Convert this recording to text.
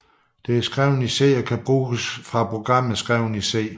Det er skrevet i C og kan bruges fra programmer skrevet i C